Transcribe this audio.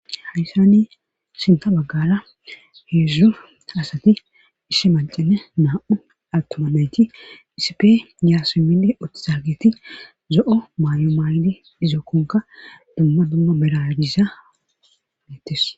hayssani sinta baggala heedzdzu asati ishi mancine naa7u attuma nayti isipe yaasi minde uttisa giti zo7o maay7o maay7de izookkonka dumma dumma beragisa neettes